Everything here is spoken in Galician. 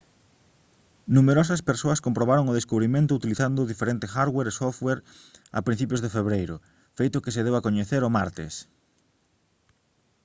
numerosas persoas comprobaron o descubrimento utilizando diferente hardware e software a principios de febreiro feito que se deu a coñecer o martes